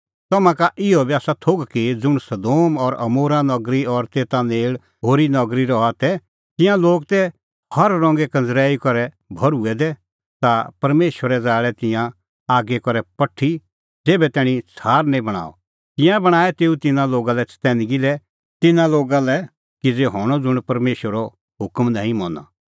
तम्हां का इहअ बी आसा थोघ कि ज़ुंण सदोम और अमोरा नगरी और तेता नेल़ होरी नगरी रहा तै तिंयां लोग तै हर रंगे कंज़रैई करै भर्हुऐ दै ता परमेशरै ज़ाल़ै तिंयां आगी करै पठी ज़ेभै तैणीं छ़ार निं बणअ तिंयां बणांऐं तेऊ तिन्नां लोगा लै चतैनगी कि तिन्नां लोगा लै किज़ै हणअ ज़ुंण परमेशरो हुकम नांईं मना